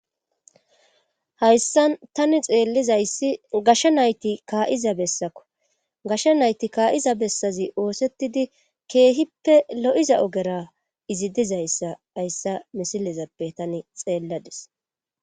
hayssan tani xeellizayssi gashsha nayti kaa7iza bessakko gashsha nayti kaa7iza bessazi oosettidi keehippe lo7iza ogera izi dizayssa hayssa misilezappe tani xeelladis